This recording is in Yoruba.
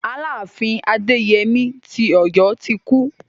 Aláàfin Adéyemí ti Ọ̀yọ́ ti kú.